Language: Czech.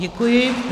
Děkuji.